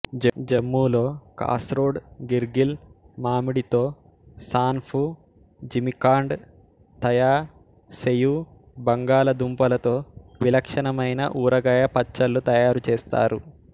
జమ్మూలో కాస్రోడ్ గిర్గిల్ మామిడితో సాన్ఫు జిమికాండ్ తయా సెయూ బంగాళాదుంపలతో విలక్షణమైన ఊరగాయ పచ్చళ్లు తయారు చేస్తారు